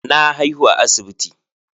Na haihu a asibiti.